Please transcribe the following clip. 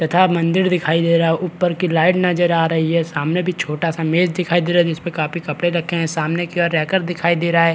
तथा मंदिर दिखाई दे रहा है ऊपर की लाइट नजर आ रही है सामने भी छोटा सा मेज दिखाई दे रहा है जिस पर काफी कपड़े रखे है सामने की ओर रैकर दिखाई दे रहा है।